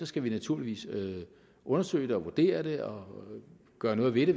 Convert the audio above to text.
skal vi naturligvis undersøge det og vurdere det og gøre noget ved det